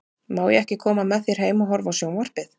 Má ég ekki koma með þér heim og horfa á sjón- varpið?